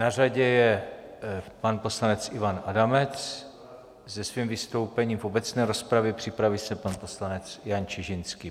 Na řadě je pan poslanec Ivan Adamec se svým vystoupením v obecné rozpravě, připraví se pan poslanec Jan Čižinský.